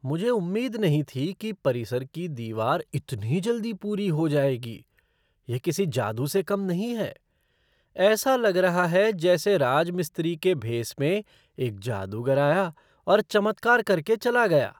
मुझे उम्मीद नहीं थी कि परिसर की दीवार इतनी जल्दी पूरी हो जाएगी, यह किसी जादू से कम नहीं है! ऐसा लग रहा है जैसे राजमिस्त्री कि भेस में एक जादूगर आया और चमत्कार करके के चला गया।